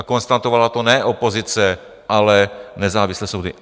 A konstatovala to ne opozice, ale nezávislé soudy.